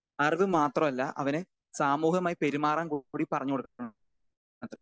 Speaker 2 അറിവ് മാത്രമല്ല അവന് സാമൂഹവുമായി പെരുമാറാൻ കൂടി പറഞ്ഞു കൊടുക്കണം.